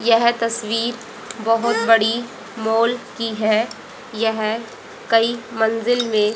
यह तस्वीर बहुत बड़ी मॉल की है। यह काई मंजिल में--